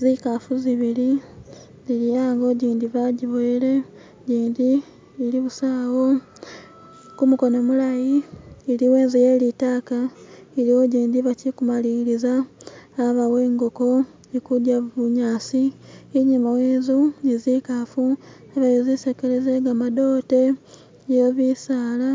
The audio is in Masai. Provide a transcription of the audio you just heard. zikafu zibili iliho jindi bajiboyele jindi ili busa wo kumukono mulayi iliwo inzu yelitaka iliwo jindi bachikumaliliza abawo ingoko ikudya bunyasi inyuma yenzu nizikafu ni zisekele zegamadote yebisaala